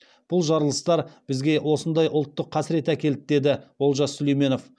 бұл жарылыстар бізге осындай ұлттық қасірет әкелді деді олжас сүлейменов